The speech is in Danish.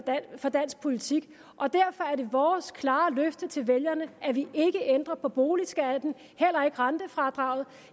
for dansk politik og derfor er det vores klare løfte til vælgerne at vi ikke ændrer på boligskatten og heller ikke rentefradraget